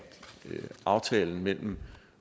aftalen mellem